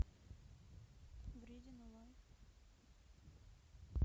вредина лайф